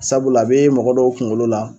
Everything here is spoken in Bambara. Sabula a be mɔgɔ dɔw kuŋolo la